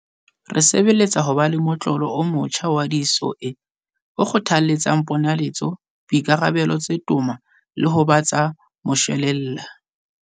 Re sebeletsa ho ba le motlolo o motjha wa di-SOE o kgothaletsang ponaletso, boikarabelo tse toma le ho ba tsa moshwelella.